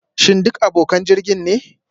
Shin duk abokan jirgin ne?